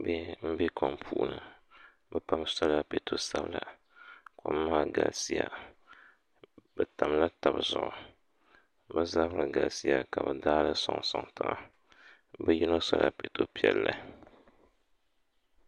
bihi m-be kom puuni bɛ pam sola piɛto sabila kom maa galisiya bɛ tamla taba zuɣu bɛ zabiri galisiya ka bɛ daai li n-sɔŋsɔŋ tiŋa bɛ yino sola piɛto piɛlli